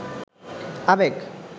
আবেগ